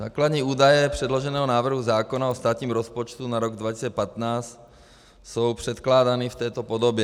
Základní údaje předloženého návrhu zákona o státním rozpočtu na rok 2015 jsou předkládány v této podobě.